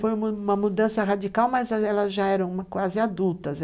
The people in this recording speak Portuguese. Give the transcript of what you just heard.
Foi uma uma mudança radical, mas elas já eram quase adultas.